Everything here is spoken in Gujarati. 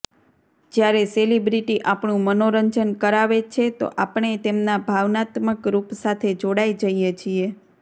જ્યારે સેલેબ્રિટી આપણું મનોરંજન કરાવે છે તો આપણે તેમના ભાવનાત્મક રૂપ સાથે જોડાઇ જઇએ છીએ